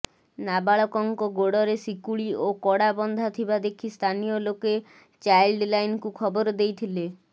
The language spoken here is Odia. ନାବାଳକଙ୍କ ଗୋଡରେ ଶିକୁଳି ଓ କଡା ବନ୍ଧା ଥିବା ଦେଖି ସ୍ଥାନୀୟ ଲୋକେ ଚାଇଲ୍ଡ ଲାଇନକୁ ଖବର ଦେଇଥିଲେ